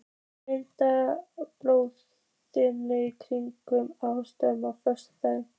Mímir, bókaðu hring í golf á föstudaginn.